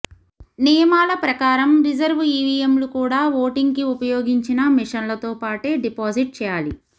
నియమాల ప్రకారం రిజర్వ్ ఈవీఎంలు కూడా ఓటింగ్ కి ఉపయోగించిన మిషన్లతో పాటే డిపాజిట్ చేయాలి